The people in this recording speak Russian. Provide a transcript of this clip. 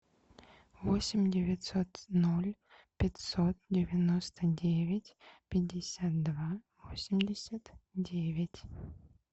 восемь девятьсот ноль пятьсот девяносто девять пятьдесят два восемьдесят девять